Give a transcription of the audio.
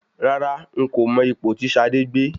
Rárá, n kò mọ ipò tí Ṣadé gbé.